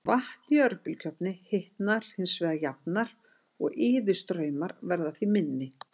Vatn í örbylgjuofni hitnar hins vegar jafnar og iðustraumar verða því minni.